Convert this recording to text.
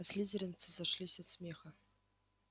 а слизеринцы зашлись от смеха